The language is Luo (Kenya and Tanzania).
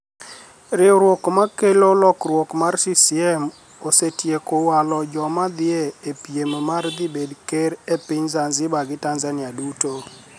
Riwruok ma kelo lokruok mar CCM osetieko walo joma ni edhie e piem mar dhi bed ker e piniy Zanizibar gi Tanizaniia duto.